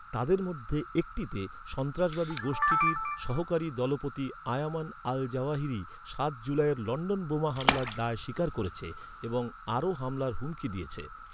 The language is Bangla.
তাদের মধ্যে একটিতে, সন্ত্রাসবাদী গোষ্ঠীটির সহকারী দলপতি আয়মান আল জাওয়াহিরি সাত জুলাইয়ের লণ্ডন বোমা হামলার দায় স্বীকার করেছে এবং আরও হামলার হুমকি দিয়েছে।